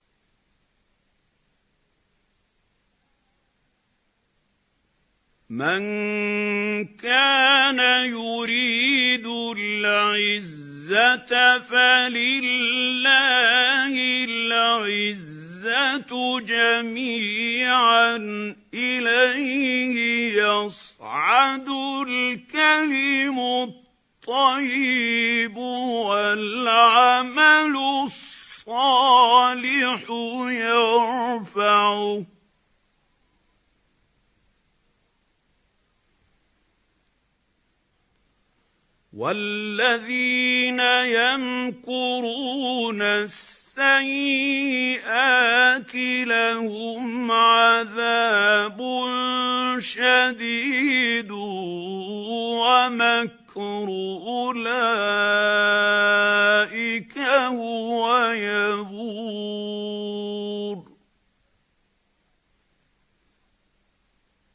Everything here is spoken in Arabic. مَن كَانَ يُرِيدُ الْعِزَّةَ فَلِلَّهِ الْعِزَّةُ جَمِيعًا ۚ إِلَيْهِ يَصْعَدُ الْكَلِمُ الطَّيِّبُ وَالْعَمَلُ الصَّالِحُ يَرْفَعُهُ ۚ وَالَّذِينَ يَمْكُرُونَ السَّيِّئَاتِ لَهُمْ عَذَابٌ شَدِيدٌ ۖ وَمَكْرُ أُولَٰئِكَ هُوَ يَبُورُ